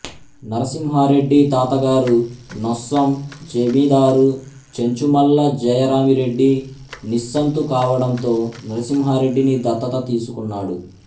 నరసింహారెడ్డి తాతగారు నొస్సం జమీదారు చెంచుమల్ల జయరామిరెడ్డి నిస్సంతు కావడంతో నరసింహారెడ్డిని దత్తత తీసుకున్నాడు